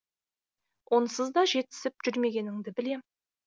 онсыз да жетісіп жүрмегеніңді білем